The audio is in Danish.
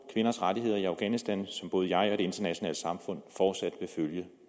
kvinders rettigheder i afghanistan som både jeg og det internationale samfund fortsat vil følge